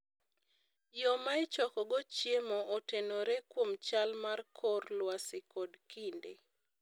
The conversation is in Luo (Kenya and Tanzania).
Yo ma ichokogo chiemo otenore kuom chal mar kor lwasi kod kinde.